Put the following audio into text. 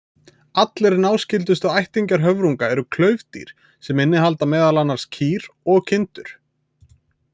Aðrir náskyldustu ættingjar höfrunga eru klaufdýr, sem innihalda meðal annars kýr og kindur.